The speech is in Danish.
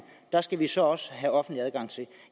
skal vi så også have offentlig adgang til